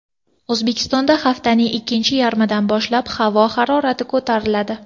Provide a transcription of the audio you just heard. O‘zbekistonda haftaning ikkinchi yarmidan boshlab havo harorati ko‘tariladi.